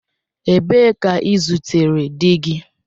Ebee ka i zutere di gi?